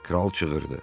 Kral çığırdı.